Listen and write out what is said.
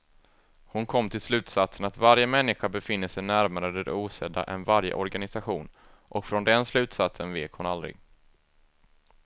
Hon kom till slutsatsen att varje människa befinner sig närmare det osedda än varje organisation, och från den slutsatsen vek hon aldrig.